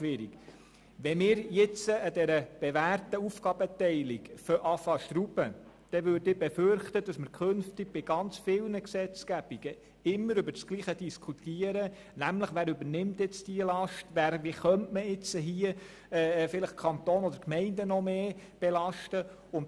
Wenn wir jetzt an dieser bewährten Aufgabenteilung schrauben, befürchte ich, dass wir in Zukunft bei ganz vielen Gesetzgebungen immer wieder über die Frage diskutieren müssten, wer eine bestimmte Last übernimmt, und wie man vielleicht den Kanton oder die Gemeinden stärker belasten könnte.